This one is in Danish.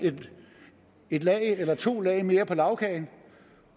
et lag eller to lag mere på lagkagen